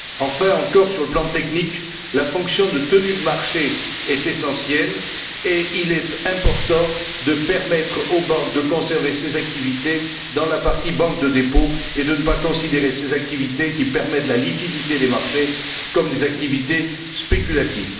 Par ailleurs, sur le plan technique, la fonction de tenue de marché est essentielle, et il est important de permettre aux banques de conserver ces activités dans la partie banque de dépôt et de ne pas considérer ces activités qui permettent la liquidité des marchés comme des activités spéculatives.